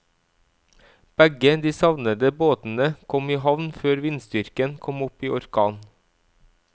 Begge de savnede båtene kom i havn før vindstyrken kom opp i orkan.